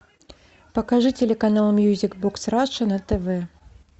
покажи телеканал мьюзик бокс раша на тв